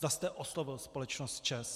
Zda jste oslovil společnost ČEZ.